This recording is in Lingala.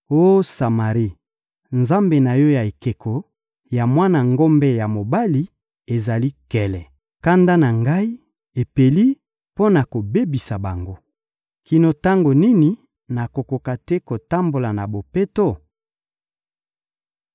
Oh Samari, nzambe na yo ya ekeko ya mwana ngombe ya mobali ezali nkele! Kanda na Ngai epeli mpo na kobebisa bango. Kino tango nini bakokoka te kotambola na bopeto?